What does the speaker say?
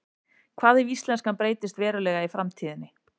hvað ef íslenskan breytist verulega í framtíðinni